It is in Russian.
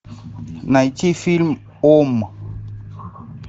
найти фильм ом